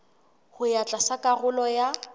ho ya tlatsa karolo ya